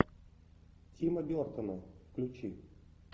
тима бертона включи